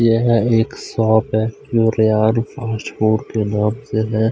यह एक शॉप है फास्ट फूड के नाम से है।